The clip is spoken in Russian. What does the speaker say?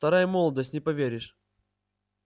вторая молодость не поверишь